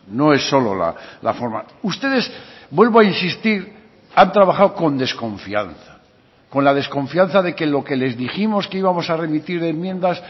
no es solo la forma ustedes vuelvo a insistir han trabajado con desconfianza con la desconfianza de que lo que les dijimos que íbamos a remitir enmiendas